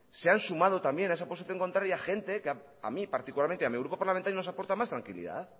se han sumado también a esa posición contraria gente que a mí particularmente a mí grupo parlamentario nos aporta más tranquilidad